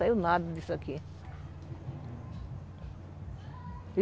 Saiu nada disso aqui.